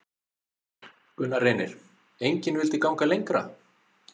Gunnar Reynir: Engin vildi ganga lengra?